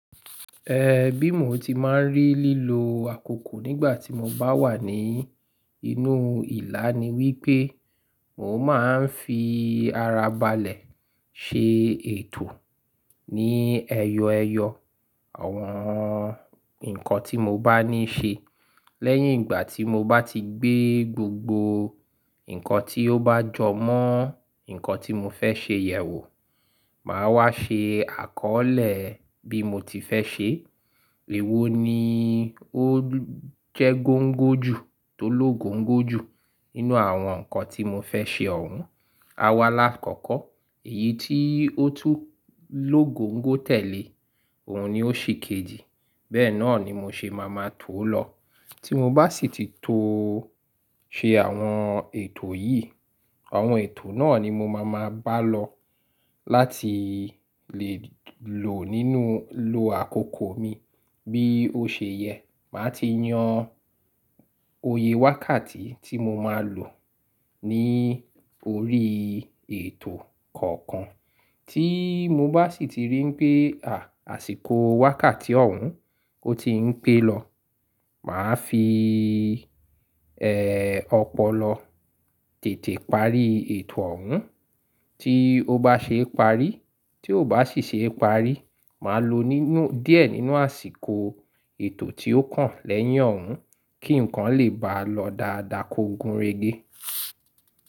E bi mo ti máa ń rí lílo àkókò nígbà tí mo bá wà ní inú ìlà ni wípé mo máa ń fi ara balẹ̀ ṣe ètò ní ẹyọẹyọ àwọn nǹkan tí mo bá ní ṣe. Lẹ́yìn ìgbà tí mo bá ti gbé gbogbo nǹkan tí ó bá jọ mọ́ nǹkan tí mo fẹ́ ṣe yẹ̀ wò, màá wá ṣe àkọọ́lẹ̀ bí mo ti fẹ́ ṣe. Èwo ni ó jẹ́ góńgó jù tó lógońgó jù nínú àwọn nǹkan tí mo fẹ́ ṣe ọ̀hún? A wá alá'kọ̀ọ̀ko, èyí tí ó tú lógońgó tẹ̀lé, òun ni ó ṣe kejì. Bẹ́ẹ̀ náà ni mo ṣe máa ma tó lọ. Tí mo bá sì ti tó ṣe àwọn ètò yìí, àwọn ètò náà ni mo máa ma bá lọ láti lè lò nínú lo àkókò mi. Bí ó ṣe yẹ, màá ti yan oyè wákàtí tí mo máa lò ní orí ètò kọ̀ọ̀kan. Tí mo bá sì ti rí pé àsìkò wákàtí ọ̀hún ọ́ ti ń pé lọ, màá fi, ẹ́, ọpọlọ tètè parí ètò ọ̀hún. Tí ó bá ṣe parí, tí ó bá sì ṣe parí, màá lo nínú díẹ̀ nínú àsìkò ètò tí ó kàn lẹ́yìn ọ̀hún kí ǹkan lè bá lọ dáadáa kó gun régé.